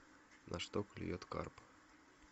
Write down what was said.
на что клюет карп